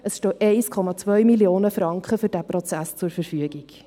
es stehen 1,2 Mio. Franken für den Prozess zur Verfügung.